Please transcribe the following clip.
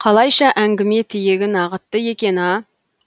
қалайша әңгіме тиегін ағытты екен а